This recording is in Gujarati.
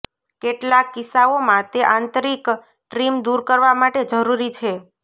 કેટલાક કિસ્સાઓમાં તે આંતરિક ટ્રીમ દૂર કરવા માટે જરૂરી છે